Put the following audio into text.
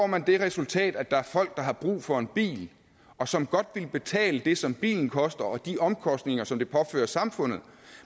man det resultat at der er folk der har brug for en bil og som godt ville betale det som bilen koster og de omkostninger som det påfører samfundet